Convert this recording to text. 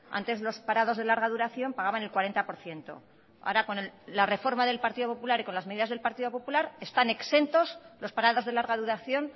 antes los parados de larga duración pagaban el cuarenta por ciento ahora con la reforma del partido popular y con las medidas del partido popular están exentos los parados de larga duración